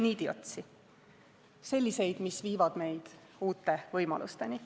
Niidiotsi, mis viivad meid uute võimalusteni.